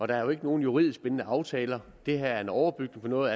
der er jo ikke nogen juridisk bindende aftaler det her er en overbygning på noget